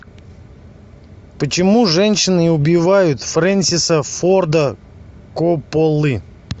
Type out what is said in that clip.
почему женщины убивают френсиса форда копполы